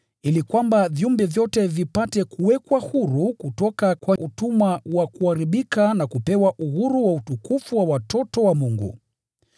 ili kwamba viumbe vyote vipate kuwekwa huru kutoka kwa utumwa wa kuharibika na kupewa uhuru wa utukufu wa watoto wa Mungu.